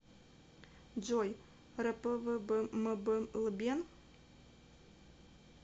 джой рпвбмблбен